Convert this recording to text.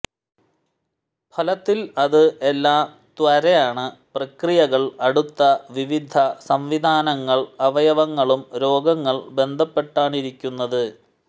ഫലത്തിൽ അത് എല്ലാ ത്വരയാണ് പ്രക്രിയകൾ അടുത്ത വിവിധ സംവിധാനങ്ങൾ അവയവങ്ങളും രോഗങ്ങൾ ബന്ധപ്പെട്ടാണിരിക്കുന്നത്